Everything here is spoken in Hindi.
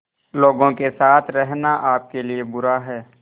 लोगों के साथ रहना आपके लिए बुरा है